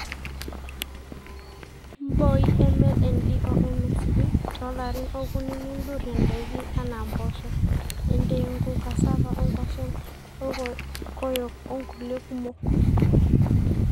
mbooi MLND o MSV too larin okuni nidurie ndaiki anaa mboosho, entengu, cassava o nkwashen olkokoyok onkulie kumok